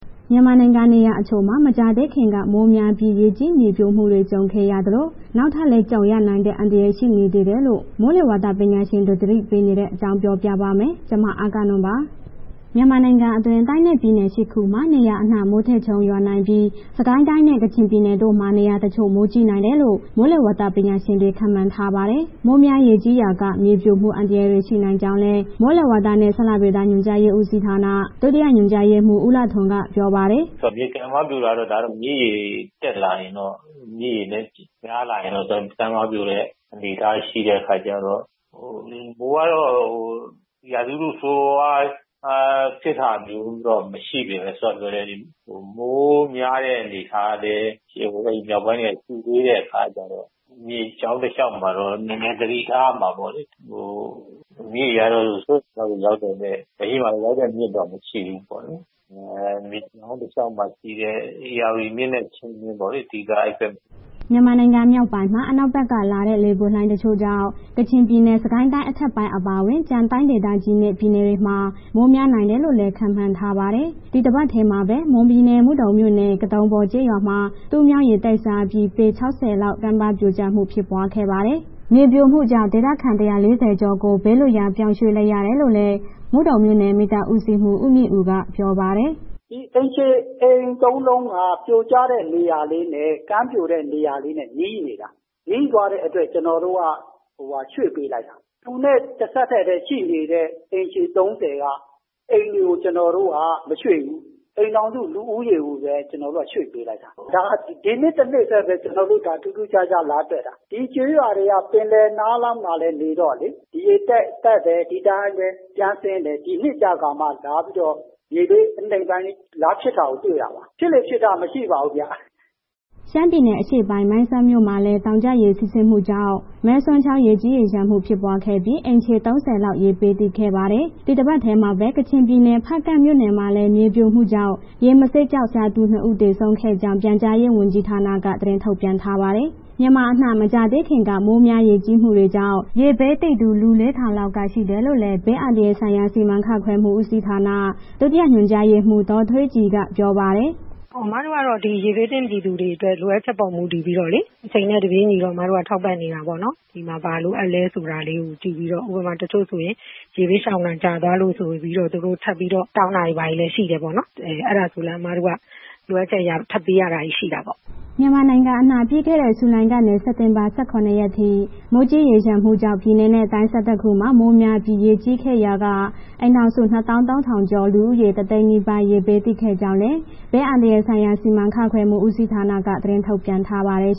မြန်မာနိုင်ငံ နေရာတချို့မှာ မကြာသေးခင်က မိုးများပြီး ရေကြီးမြေပြိုမှုတွေ ကြုံခဲ့ရသလို၊ နောက်ထပ်လည်း ကြုံရနိုင်တဲ့ အန္တရယ် ရှိနေသေးတယ်လို့ မိုးလေဝသပညာရှင်တွေ သတိပေးနေတဲ့အကြောင်း အဂ္ဂနွန် ပြောပြာပါမယ်။ မြန်မာနိုင်ငံအတွင်း တိုင်းနဲ့ ပြည်နယ် ၈ ခုမှာ နေရာအနှံ့ မိုးထစ်ချုန်းရွာနိုင်ပြီး စစ်ကိုင်းတိုင်းနဲ့ ကချင်ပြည်နယ်တို့မှာ နေရာတချို့ မိုးကြီးနိုင်တယ်လို့ မိုးလေဝသပညာရှင်တွေ ခန့်မှန်းထားပါတယ်။ မိုးများရေကြီးရာက မြေပြိုမှု အန္တရာယ်တွေ ရှိနိုင်ကြောင်းလည်း မိုးလေဝသနဲ့ ဇလဗေဒညွှန်ကြားရေးဦးစီးဌာန ဒုတိယညွှန်ကြားရေးမှူး ဦးလှထွန်းက ပြောပါတယ်။ “မြစ်ကမ်းပါးပြိုတာတော့ ဒါကမြစ်ရေတက်လာရင်တော့ မြစ်ရေများလာရင်တော့ ကမ်းပါပြိုတဲ့ အနေအထားရှိတဲ့အခါကျတော့၊ ဟို မိုးကတော့ ရာသီဥတုဆိုးဆိုးဝါးဝါးတော့ ဖြစ်တာမျိုးတော့မရှိပေမယ့် စောစောကပြောတဲ့ မိုးများတဲ့အနေအထားလည်း မြောက်ပိုင်းတွေက ရှိသေးတဲ့ အခါကျတော့ မြစ်ကြောင်းတစ်လျှောက်မှာတော့ နည်းနည်းသတိထားရမှာပေါ့လေ။မြစ်ရေကတော့ စိုးရိမ်ရေမှတ်ရောက်တာ လက်ရှိမှာ စိုးရိမ်ရေမှတ်ရောက်တဲ့မြစ်တော့ မရှိဘူးပေါ့လေး၊ အဲ့ မြစ်ကြောင်းတစ်လျှောက်မှာရှိတဲ့ ဧရာဝတီမြစ်နဲ့ ချင်းတွင်းမြစ်ပေါ့လေး အဓိက အဲ့ဘက်မှာ။” မြန်မာနိုင်ငံ မြောက်ပိုင်းမှာ အနောက်ဘက်က လာတဲ့ လေပွေလှိုင်းတချို့ကြောင့် ကချင်ပြည်နယ်၊ စစ်ကိုင်းတိုင်းအထက်ပိုင်း အပါအဝင် ကျန်တိုင်းဒေသကြီးနဲ့ ပြည်နယ်တွေမှာ မိုးများနိုင်တယ်လို့လည်း ခန့်မှန်းထားပါတယ်။ ဒီတပတ်ထဲမှာပဲ မွန်ပြည်နယ် မုဒုံမြို့နယ် ကတုံပေါ်ကျေးရွာမှာ တူးမြောင်း ရေတိုက်စားပြီး ပေ ၆၀ လောက် ကမ်းပါးပြိုကျမှုဖြစ်ပွားခဲ့ပါတယ်။ မြေပြိုမှုကြောင့် ဒေသခံ ၁၄၀ ကျော်ကို ဘေးလွှတ်ရာပြောင်းရွှေ့လိုက်ရတယ်လို့လည်း မုဒုံမြို့နယ် မီးသတ်ဦးစီးမှူး ဦးမြင့်ဦး ကပြောပါတယ်။ “အိမ်ခြေ၊ အိမ်သုံးလုံးက ကမ်းပြိုတဲ့နေရာနဲ့ နီးနေတာ၊ နီးသွားတဲ့အတွက် ကျနော်တို့ ရွှေ့ပေးလိုက်တာ သူနဲ့ တစ်ဆက်တည်းပဲ ရှိနေတဲ့အိမ်ခြေ ၃၀ က အိမ်တွေကို ကျနော်တို့က မရွှေ့ဘူး၊ အိမ်ထောင်စု လူဦးရေကိုပဲ ကျနော်တို့က ရွှေ့ပေးလိုက်တာ၊ ဒါ ဒီနှစ်တစ်နှစ်ထဲပဲ ထူးထူးခြားခြားလာတွေ့တာ ဒီကျေးရွာတွေက ပင်လယ်နားလေးမှာ လာနေတော့လေဒီရေတက်တယ်၊ ဒီတိုင်းပဲ ပြန်ဆင်းတယ်၊ ဒီနှစ်ကျကာမှ လာပြီး မြေအနိမ့်ပိုင်းလေး လာဖြစ်တာကို တွေ့တာပါ၊ ဖြစ်လေ့ဖြစ်ထတော့ မရှိပါဘူးဗျ။” ရှမ်းပြည်နယ်အရှေ့ပိုင်း မိုင်းဆတ်မြို့မှာလည် တောင်ကျရေစီးဆင်းမှုကြောင့် မယ်ဆွမ်ချောင်း ရေကြီးရေလျှံမှုဖြစ်ပွားခဲ့ပြီး အိမ်ခြေ ၃၀ လောက် ရေဘေးသင့်ခဲ့ပါတယ်။ ဒီတပတ်ထဲမှာပဲ ကချင်ပြည်နယ် ဖားကန့်မြို့နယ်မှာလည်း မြေပြိုကျမှုကြောင့် ရေမဆေးကျောက်ရှာသူ နှစ်ဦးသေဆုံးခဲ့ကြောင်း ပြန်ကြားရေးဝန်ကြီးဌာန သတင်းထုတ်ပြန်ထားပါတယ်။ မြန်မာအနှံ့ မကြာသေးခင်က မိုးများရေကြီးမှုတွေကြောင့် ရေဘေးသင့်သူ လူ ၄၀၀၀ လောက်ကရှိတယ်လို့လည်း ဘေးအန္တရာယ်ဆိုင်ရာစီမံခန့်ခွဲမှုဦးစီဌာန ဒုတိယ ညွှန်ကြားရေးမှူး ဒေါ်ထွေးကြည်က ပြောပါတယ်။ “အမတို့ကတော့ ဒီရေဘေးသင့် ပြည်သူတွေအတွက် လိုအပ်ချက်ပေါ်မူတည်ပြီးတော့လေး၊ အချိန်နဲ့ တပြေညီတော့ အမတို့က ထောက်ပံ့နေတာပေါ့နော်၊ ဒီမှာ ဘာလိုအပ်လဲဆိုတာလေးကို ကြည့်ပြီးတော့ ဥပမာ တချို့ဆိုရင် ရေဘေးရှောင်တာကြားသွားလို့ဆိုပြီးတော့ သူတို့ထပ်ပြီးတော့ တောင်းတာတွေ ဘာတွေလည်းရှိတယ်ပေါ့နော်၊ အဲ့ဒါကိုလည်း အမတို့က လိုအပ်ချက်အရ ထပ်ပေးရတာလည်း ရှိတာပေါ့။” မြန်မာနိုင်ငံအနှံ့ ပြီးခဲ့တဲ့ ဇူလိုင်ကနေ စက်တင်ဘာ ၁၇ ရက်ထိ မိုးကြီးရေလျှံမှုကြောင့် ပြည်နယ်နဲ့ တိုင်း ၁၁ ခုမှာ မိုးများပြီး ရေကြီးခဲ့ရာက အိမ်ထောင်စု ၂ သောင်း ၃ သုံးထောင်ကျော်၊ လူဦးရေ တစ်သိန်းနီးပါး ရေဘေးသင့်ခဲ့ကြောင်းလည်း ဘေးအန္တရာယ်ဆိုင်ရာ စီမံခန့်ခွဲမှုဦးစီဌာနက သတင်းထုတ်ပြန်ထားပါတယ်